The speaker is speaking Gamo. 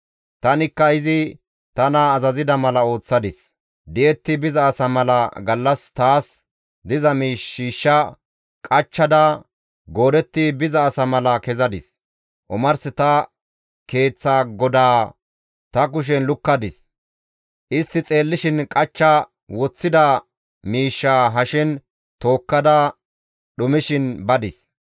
Tanikka izi tana azazida mala ooththadis. Di7etti biza asa mala gallas taas diza miish shiishsha qachchada goodetti biza asa mala kessadis; omars ta keeththa godaa ta kushen lukkadis; istti xeellishin qachcha woththida miishshaa hashen tookkada dhumishin badis.